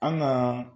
An ŋaa